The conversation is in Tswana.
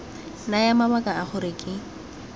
naya mabaka a gore ke